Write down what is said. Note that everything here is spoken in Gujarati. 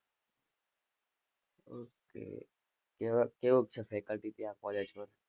Okay કેવ~ કેવું ક છે FACULATY ત્યાં college પર.